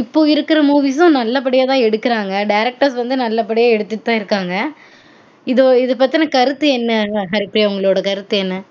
இப்பொ இருக்ர movies ம் நல்ல படியாதான் எடுக்குறாங்க directers வந்து நல்ல படியா தான் எடுத்துட்டு தான் இருக்காங்கஇதொ இது பத்துன கருத்து என்ன உங்க கருத்து உங்களொட கருத்து என்ன